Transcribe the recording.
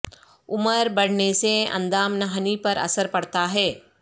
عمر بڑھنے سے اندام نہانی پر اثر پڑتا ہے